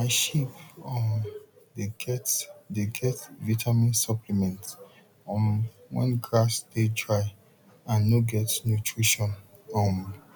my sheep um dey get dey get vitamin supplement um when grass dey dry and no get nutrition um